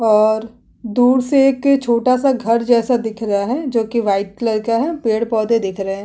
और दूर से एक छोटा सा घर जसा दिख रहा है जो की वाइट कलर का है पेड़ पौधे दिख रहें --